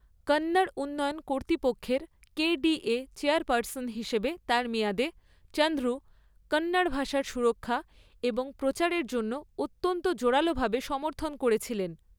কন্নড় উন্নয়ন কর্তৃপক্ষের KDA chairperson হিসাবে তার মেয়াদে, চন্দ্রু কন্নড় ভাষার সুরক্ষা এবং প্রচারের জন্য অত্যন্ত জোরালোভাবে সমর্থন করেছিলেন।